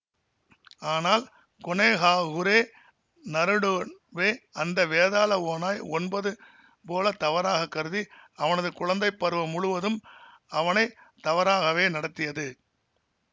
ஆனால் கொனொஹாகுரே நருடோவே அந்த வேதாள ஓநாய் ஒன்பது போல தவறாக கருதி அவனது குழந்தை பருவம் முழுதும் அவனை தவறாகவே நடத்தியது